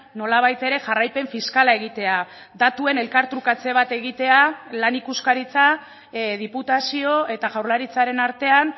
nolabait ere jarraipen fiskala egitea datuen elkartrukatze bat egitea lan ikuskaritza diputazio eta jaurlaritzaren artean